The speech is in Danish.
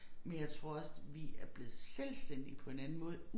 Men jeg tror også vi er blevet selvstændige på en anden måde